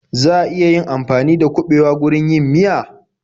Za a iya amfani dakuɓewa wurin yin miya?